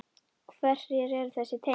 Hver eru þessi tengsl?